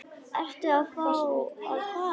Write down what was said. Ertu þá að fara?